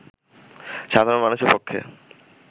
সাধারণ মানুষের পক্ষে